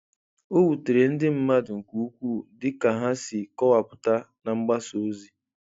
O wutere ndị mmadụ nke ukwuu dịka ha si kọwapụta na mgbasa ozi.